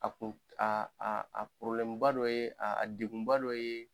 A kun a a a porobilɛmuba dɔ ye degunba dɔ ye